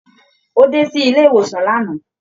Ó dé silé-ìwòsàn lánàá.